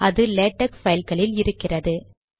அது லேடக் பைல்களில் இருக்கிறது